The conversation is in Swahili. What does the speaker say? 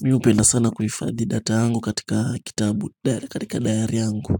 Mimi hupenda sana kuhifadhi data yangu katika kitabu katika dayari yangu